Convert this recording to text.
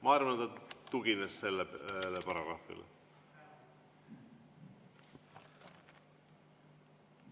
" Ma arvan, ta tugines sellele paragrahvile.